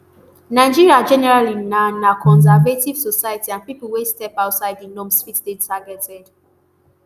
nigeria generally na na conservative society and pipo wey step outside di norms fit dey targeted